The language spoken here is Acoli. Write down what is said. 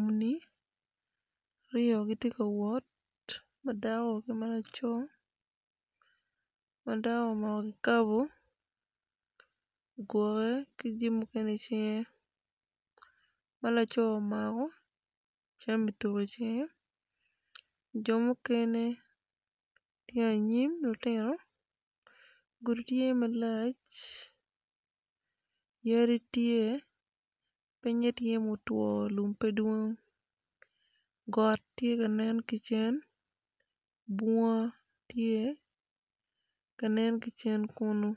Muni aryo gitye ka wot madako ki malaco, madako omako kikabo igwoke ki jami mukene i cinge malaco omako jami tuko i cinge jo mukene tye anyim lutino gudi tye malac yadi tye pinye tye mutwo lum pe dwong got tye ka nen kicen bunga tye kanen kicen kunu